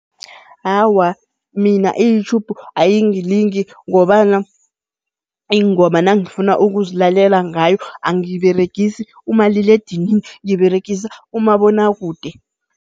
Awa, mina i-YouTube ayingilingi ngobana iingoma nangifuna ukuzilalela ngayo angiberegisi umaliledinini, ngiberegisa umabonwakude.